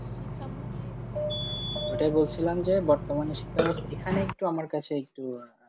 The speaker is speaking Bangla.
ওটাই বলছিলাম যে বর্তমানে শিক্ষা ব্যবস্থা এখানে একটু আমার কাছে একটু